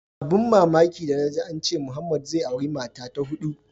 Abun da mamaki danaji ance Muhammed zai auri mata ta hudu.